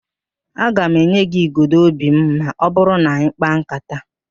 Aga m enye gị igodo óbì m ma ọ bụrụ na anyị kpaa ńkátá